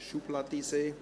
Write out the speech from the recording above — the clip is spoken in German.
«schubladiser».